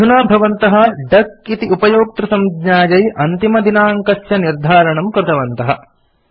अधुना भवन्तः डक इति उपयोक्तृसंज्ञायै अन्तिमदिनाङ्कस्य निर्धारणं कृतवन्तः